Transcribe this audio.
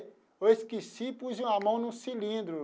Eu esqueci e pus a mão no cilindro.